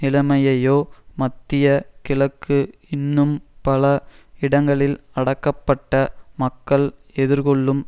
நிலைமையையோ மத்திய கிழக்கு இன்னும் பல இடங்களில் அடக்கப்பட்ட மக்கள் எதிர்கொள்ளும்